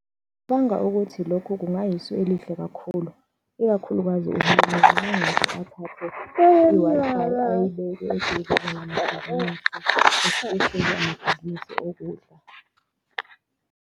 Ngicabanga ukuthi lokhu kungayisu elihle kakhulu, ikakhulukazi uhulumeni mangase athathe i-Wi-Fi ayibeke eduze namabhizinisi, esipesheli amabhizinisi okudla.